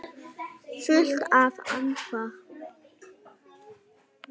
Fullt nafn?